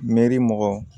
Mɛri mɔkɔ